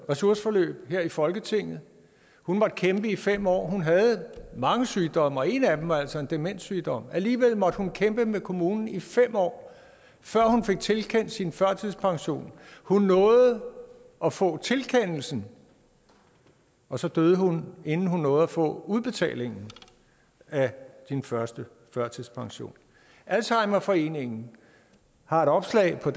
ressourceforløb her i folketinget hun måtte kæmpe i fem år hun havde mange sygdomme og en af dem var altså en demenssygdom alligevel måtte hun kæmpe med kommunen i fem år før hun fik tilkendt sin førtidspension hun nåede at få tilkendelsen og så døde hun inden hun nåede at få udbetalingen af sin første førtidspension alzheimerforeningen har et opslag på